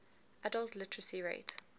adult literacy rate